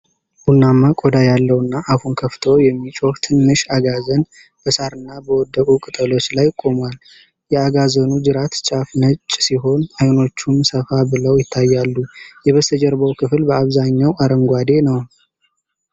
ቡናማ ቆዳ ያለውና አፉን ከፍቶ የሚጮህ ትንሽ አጋዘን፣ በሣርና በወደቁ ቅጠሎች ላይ ቆሟል። የአጋዘኑ ጅራት ጫፍ ነጭ ሲሆን፣ አይኖቹም ሰፋ ብለው ይታያሉ። የበስተጀርባው ክፍል በአብዛኛው አረንጓዴ ነው።